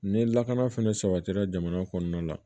Ni lakana fɛnɛ sabatira jamana kɔnɔna la